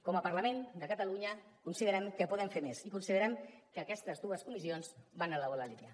com a parlament de catalunya considerem que podem fer més i considerem que aquestes dues comissions van en la bona línia